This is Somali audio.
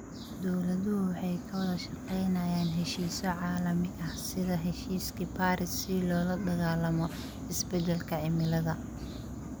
Dawladuhu waxay ka wada shaqaynayaan heshiisyo caalami ah sida heshiiskii Paris si loola dagaallamo isbeddelka cimilada.